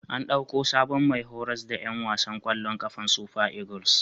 An ɗauko sabon mai horas da ƴan wasan ƙwallon ƙafar Super Eagles.